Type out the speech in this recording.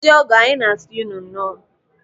Ndị ọgọ, anyị na-asị unu nnọọ.